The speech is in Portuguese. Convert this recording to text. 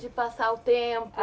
De passar o tempo.